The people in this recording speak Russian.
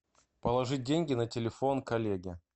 положить деньги на телефон коллеге